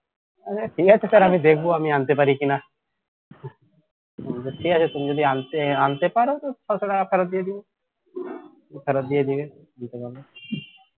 ঠিক আছে sir দেখব আমি আনতে পারি কিনা বলল ঠিক আছে তুমি যদি আনতে পারো ছশো টাকা ফেরত দিয়ে দেব ফেরত দিয়ে দেবে দিতে পারলে